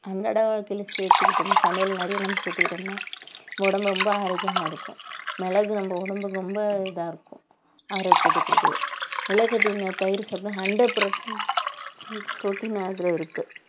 அன்றாட வாழ்க்கையில சேர்த்துக்கிட்டோம்ன்னா சமையல் நிறைய நம்ம சேர்த்துக்கிட்டோம்ன்னா உடம்பு ரொம்ப ஆரோக்கியமா இருக்கும் மிளகு நம்ம உடம்புக்கு ரொம்ப இதா இருக்கும் ஆரோக்கியத்தை கொடுக்குது முளைகட்டின பயறு சாப்பிட்டா hundred percent ப்ரோடீன் அதுல இருக்கு